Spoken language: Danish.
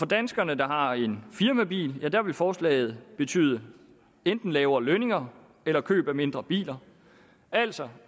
danskere der har en firmabil vil forslaget betyde enten lavere lønninger eller køb af mindre biler altså